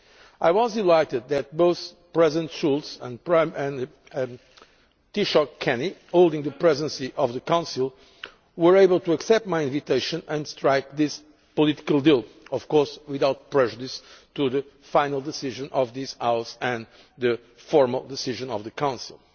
I was delighted that both President Schulz and Taoiseach Kenny, holding the Presidency of the Council, were able to accept my invitation and strike this political deal, without prejudice to the final decision of this House and the formal decision of the Council.